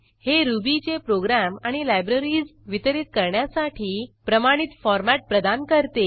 हे रुबीचे प्रोग्रॅम आणि लायब्ररीज वितरीत करण्यासाठी प्रमाणित फॉरमॅट प्रदान करते